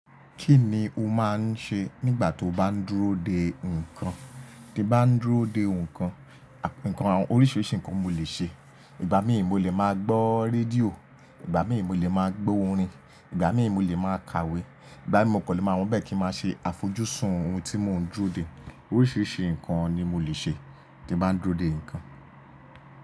Kí ni o máa ń ṣe nígbà tóo bá ń dúró de nǹkan? Bí bá ń dúró de nǹkan, nǹkan oríṣìíríṣìí nǹkan mo lè ṣe. Ìgbà míì mo lè máa gbọ́ rédíò, ìgbà míì mo lè máa gbọ́ orin, ìgbà míì mo lè máa kàwé, ìgbà míì mo kò lè máa wò níbẹ̀ kí n máa ṣe àfojúsùn ohun tí mò ń dúró dè. Oríṣiríṣi nǹkan ni mo lè ṣe tí bá ń dúró de nǹkan.